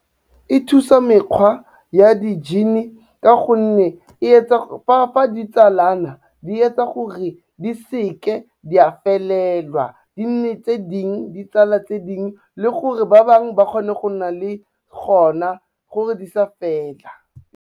E thusa mekgwa ya di-gene ka gonne fa di tsalana di etsa gore di seke di a felelwa di nne tse dingwe, di tsala tse dingwe le gore ba bangwe ba kgone go nna le gona, gore di sa fela.